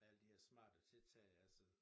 Alle de her smarte tiltag altså